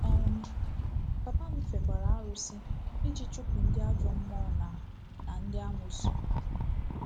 um Papa m fekwara arụsị iji chụpụ ndị ajọ mmụọ na na ndị amoosu.